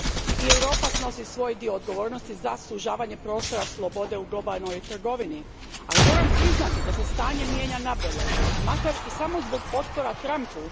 I Europa snosi svoj dio odgovornosti za sužavanje prostora slobode u globalnoj trgovini, ali moram priznati da se stanje mijenja nabolje, makar i samo zbog otpora Trumpu.